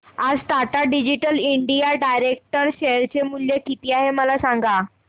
आज Tata digital India direct share चे मूल्य किती आहे मला सांगा